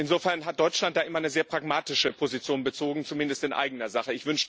Insofern hat Deutschland da immer eine sehr pragmatische Position bezogen, zumindest in eigener Sache.